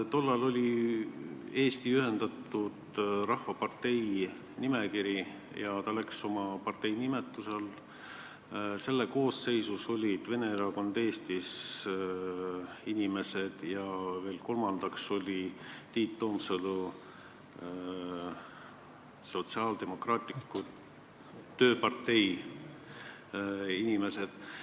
Tollal oli Eestimaa Ühendatud Rahvapartei nimekiri, ta läks valimistele oma partei nimetuse all, selle koosseisus olid inimesed Vene Erakonnast Eestis ja kolmandaks olid Tiit Toomsalu Sotsiaaldemokraatliku Tööpartei inimesed.